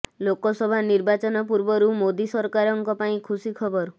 ଲୋକସଭା ନିର୍ବାଚନ ପୂର୍ବରୁ ମୋଦି ସରକାରଙ୍କ ପାଇଁ ଖୁସି ଖବର